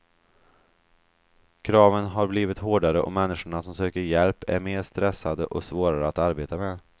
Kraven har blivit hårdare och människorna som söker hjälp är mer stressade och svårare att arbeta med.